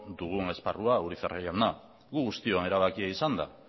dugun esparrua urizar jauna gu guztion erabakia izan da